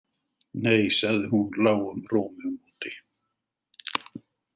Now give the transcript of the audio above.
Nei, sagði hún lágum rómi á móti.